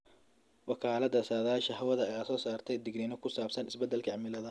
Wakaalada saadaasha hawada ayaa soo saarta digniino ku saabsan isbedelka cimilada.